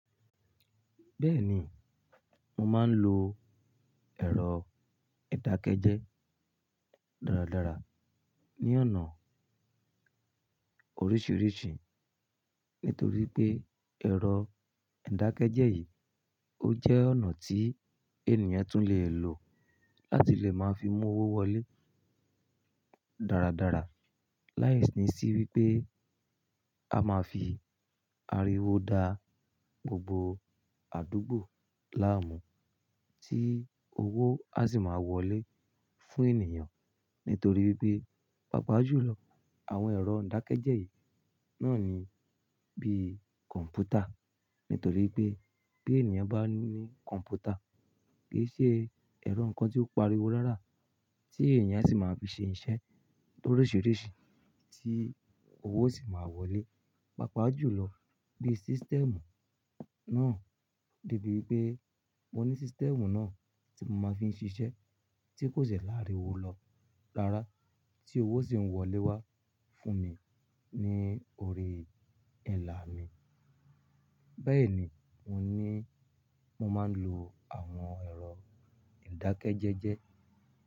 Bẹ́ẹ̀ni, mo máa ń lo ẹ̀rọ ìdákẹ́jẹ́ dáradára ní ọ̀nà oríṣiríṣi. Nítorí pé ẹ̀rọ ìdákẹ́jẹ́ yìí, ó jẹ́ ọ̀nà tí ènìyàn tún lè lo láti lè máa fi mú owó wọlé dáradára. Láìsí ní sí wípé a máa fi ariwo dá gbogbo àdúgbò láàmú tí owó a sì máa wọlé fún ènìyàn. Nítorí pé, papa jùlọ àwọn ẹ̀rọ ìdákẹ́jẹ́ yìí náà ni bí i kọ̀m̀pútà. Nítorí pé bí ènìyàn bá ní kọ̀m̀pútà, kì í ṣe ẹ̀rọ nǹkan tí ó ń pariwo rárá, tí ènìyàn sì máa fi ṣe iṣẹ́ loríṣiríṣi tí owó sì máa wọlé. Pápá jùlọ bí i system náà, de bí wípé mo ní system náà tí mo máa fi ń ṣiṣẹ́ tí kò ṣẹ̀ láìríwo lọ rárá tí owó sì ń wọlé wá fún mi ní ori ẹlà mi. Bẹ́ẹ̀ ni mo ní mo máa ń lo àwọn ẹ̀rọ ìdákẹ́jẹ́jẹ́.